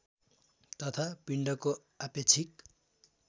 तथा पिण्डको आपेक्षिक